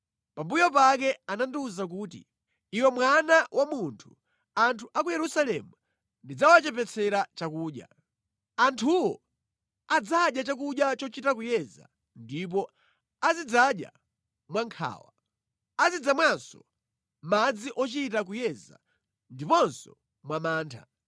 Pambuyo pake anandiwuza kuti, “Iwe mwana wa munthu, anthu a ku Yerusalemu ndidzawachepetsera chakudya. Anthuwo adzadya chakudya chochita kuyeza ndipo azidzadya mwa nkhawa. Azidzamwanso madzi ochita kuyeza ndiponso mwa mantha.